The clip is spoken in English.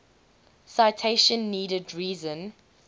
citation needed reason